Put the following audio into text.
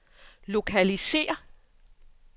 lokalisér